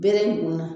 Bere ninnu na